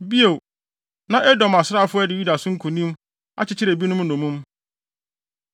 Bio, na Edom asraafo adi Yuda so nkonim, akyekyere ebinom nnommum.